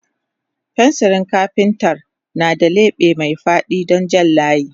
Fensirin kafintar na da leɓe mai faɗi don jan layi.